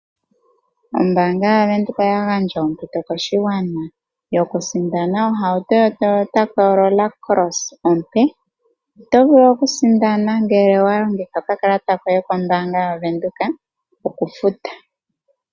Ombaanga yaWindhoek oyagandja ompito koshigwana, yokusindana ohauto yo Toyota Corolla Cross ompe otovulu okusindana ngele owalongitha okakalata koye kombaanga yaWindhoek okufuta.